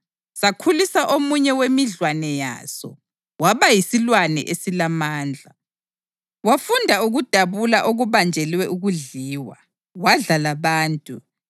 Sakhulisa omunye wemidlwane yaso waba yisilwane esilamandla wafunda ukudabula okubanjelwe ukudliwa, wadla labantu.